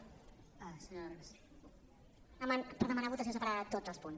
per demanar votació separada de tots els punts